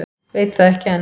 Veit það ekki enn.